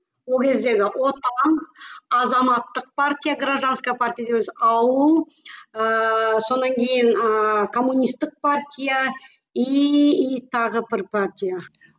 ол кездегі отан азаматтық партия гражданская партия дейміз ауыл ыыы сонан кейін ыыы коммунистик партия иии тағы бір партия